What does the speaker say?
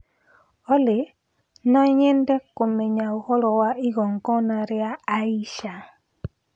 Olly no nyende kũmenya ũhoro wa igongona rĩa Aisha